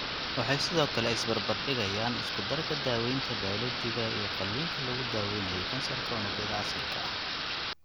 Waxay sidoo kale is barbar dhigayaan isku-darka daaweynta bayoolojiga iyo qalliinka lagu daweynayo kansarka unugyada asalka ah.